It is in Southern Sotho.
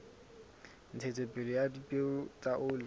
ntshetsopele ya dipeo tsa oli